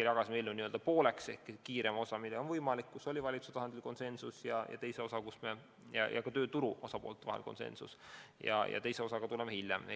jagasime eelnõu pooleks: kiirem osa, mis on võimalik ära teha, mille puhul oli valitsuse tasandil konsensus ja ka tööturu osapoolte vahel konsensus, ja teine osa, mille juurde tuleme hiljem.